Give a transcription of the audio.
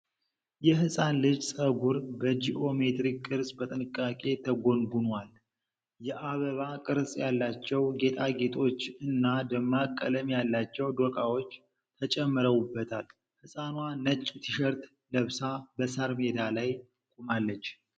የህፃን ልጅ ፀጉር በጂኦሜትሪክ ቅርጽ በጥንቃቄ ተጎንጉኗል። የአበባ ቅርጽ ያላቸው ጌጣጌጦች እና ደማቅ ቀለም ያላቸው ዶቃዎች ተጨምረውበታል። ህፃኗ ነጭ ቲሸርት ለብሳ በሣር ሜዳ ላይ ቆማለች።